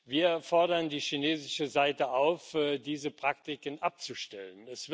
Wir fordern die chinesische Seite auf, diese Praktiken abzustellen.